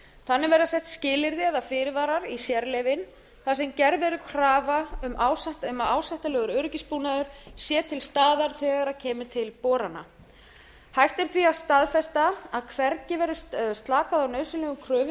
þannig verða sett skilyrði eða fyrirvarar í sérleyfin þar sem gerð verður krafa um að ásættanlegur öryggisbúnaður sé til staðar þegar kemur til borana hægt er því að staðfesta að hvergi verði slakað á nauðsynlegum kröfum er